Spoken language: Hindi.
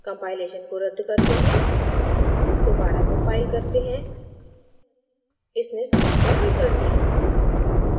compilation को रद्द करते हैं दोबारा कम्पाइल करते हैं; इसने समस्या हल कर दी